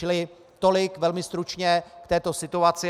Čili tolik velmi stručně k této situaci.